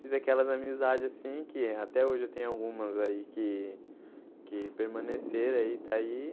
Fiz aquelas amizades assim que eh até hoje eu tenho algumas aí que que permaneceram aí, está aí.